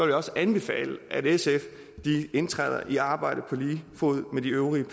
jeg også anbefale at sf indtræder i arbejdet på lige fod med de øvrige